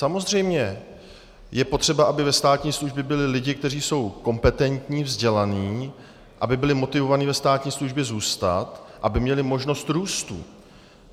Samozřejmě, je potřeba, aby ve státní službě byli lidi, kteří jsou kompetentní, vzdělaní, aby byli motivovaní ve státní službě zůstat, aby měli možnost růstu.